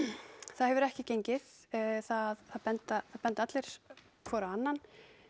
það hefur ekki gengið það benda benda allir hver á annan